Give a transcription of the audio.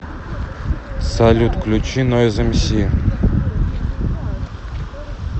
салют включи нойз эмси